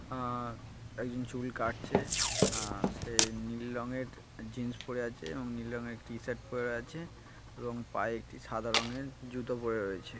আহ একজন চুল কাটছে আহ সে নীল রঙের জিন্স পরে আছে এবং নীল রঙের একটি শার্ট পরে আছে এবং পায়ে একটি সাদা রঙের জুতো পরে রয়েছে।